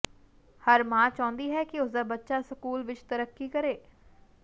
ਹਰ ਮਾਂ ਚਾਹੁੰਦੀ ਹੈ ਕਿ ਉਸਦਾ ਬੱਚਾ ਸਕੂਲ ਵਿੱਚ ਤਰੱਕੀ ਕਰੇ